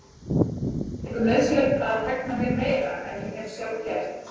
Fannst ykkur nauðsynlegt að hegna mér meira en ég hef sjálf gert?